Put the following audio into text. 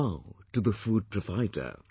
Bow to the food provider